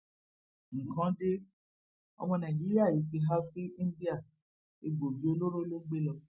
nǹkan de ọmọ nàìjíríà yìí ti há sí íńdíà egbòogi olóró ló gbé lọ